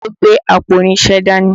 Ọlá ló gbé àpò irinṣẹ́ dání